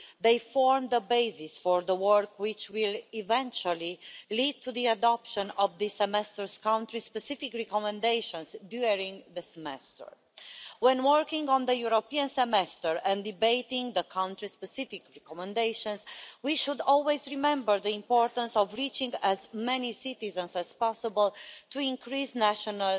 They form the basis for the work which will eventually lead to the adoption of the Semester's country specific recommendations during the Semester. When working on the European Semester and debating the country specific recommendations, we should always remember the importance of reaching as many citizens as possible to increase national